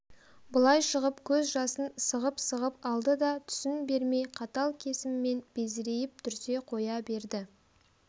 былай шығып көз жасын сығып-сығып алды да түсін бермей қатал кесіммен безірейіп дүрсе қоя берді